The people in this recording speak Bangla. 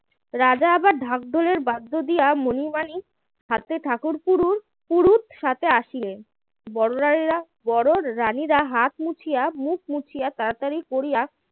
রাজা ঢাক ঢোলের বাদ্য দিয়া মণি মানিক হাতে ঠাকুর পুরু পুরুত সাথে আসিলেন বড় রানীরা বড় রানীরা হাত মুছিয়া মুখ মুছিয়া তাড়াতাড়ি করিয়া